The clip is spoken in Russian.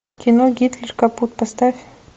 кино гитлер капут поставь